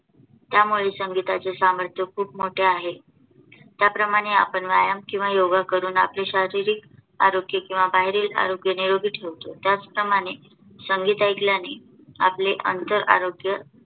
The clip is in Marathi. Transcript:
त्यामुळे संगीताचे सामर्थ्य खूप मोठे आहे. ज्याप्रमाणे आपण व्यायाम किंवा योगा करून आपले शारीरिक आरोग्य किंवा बाहेरील शरीर निरोगी ठेवतो. त्याचप्रमाणे संगीत ऐकल्याने आपले आंतर आरोग्य